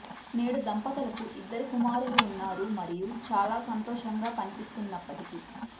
నేడు దంపతులకు ఇద్దరు కుమారులు ఉన్నారు మరియు చాలా సంతోషంగా కనిపిస్తున్నప్పటికీ